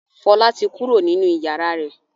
Fọlá ti kó kúrò nínú ìyàrá rẹ̀.